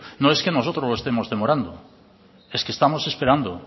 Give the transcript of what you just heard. no es que nosotros lo estemos demorando es que estamos esperando